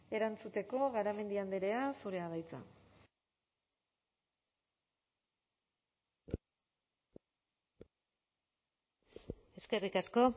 erantzuteko garamendi andrea zurea da hitza eskerrik asko